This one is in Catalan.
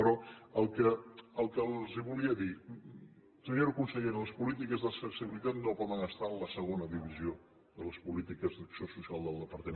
però el que les volia dir senyora consellera les polítiques d’accessibilitat no poden estar en la segona divisió de les polítiques d’acció social del departament